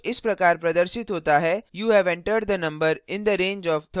output इस प्रकार प्रदर्शित होता है you have entered the number in the range of 30 to 39